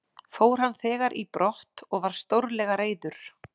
Fór hann þegar í brott og var stórlega reiður.